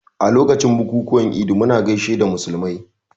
A lokacin bukukuwan Idi muna gaishe da musulmai